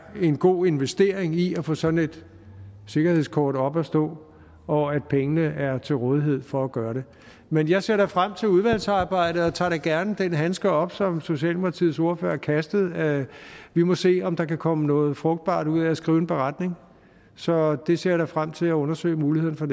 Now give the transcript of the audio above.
en god investering i at få sådan et sikkerhedskort op at stå og at pengene er til rådighed for at gøre det men jeg ser frem til udvalgsarbejdet og tager da gerne den handske op som socialdemokratiets ordfører kastede vi må se om der kan komme noget frugtbart ud af at skrive en beretning så det ser jeg da frem til at undersøge muligheden for